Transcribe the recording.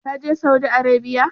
Ka je Saudi Arabiya?